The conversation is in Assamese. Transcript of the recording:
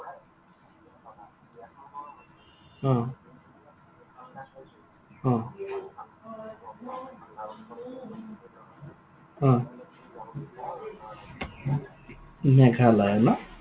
অ। অ। অ। মেঘালয় ন?